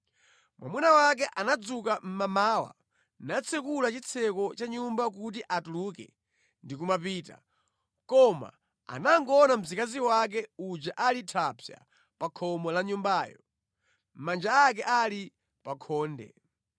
Mwamuna wake anadzuka mʼmamawa, natsekula chitseko cha nyumba kuti atuluke ndi kumapita. Koma anangoona mzikazi wake uja ali thapsa pa khomo la nyumbayo, manja ake ali pa khonde.